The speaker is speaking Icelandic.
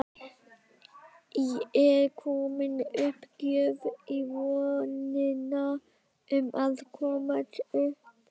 Er komin uppgjöf í vonina um að komast upp?